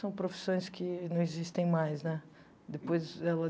São profissões que não existem mais né, depois ela